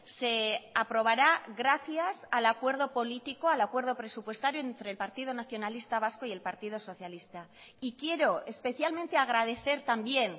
se aprobará gracias al acuerdo político al acuerdo presupuestario entre el partido nacionalista vasco y el partido socialista y quiero especialmente agradecer también